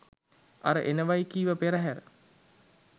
අර එනවයි කිව පෙරහැර